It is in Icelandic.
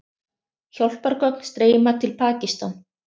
Hjálpargögn streyma til Pakistan